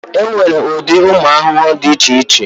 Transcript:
E nwere ụdị ụmụ arụrụ dị iche iche.